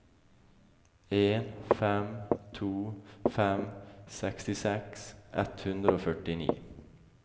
en fem to fem sekstiseks ett hundre og førtini